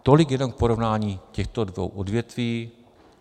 Tolik jenom k porovnání těchto dvou odvětví.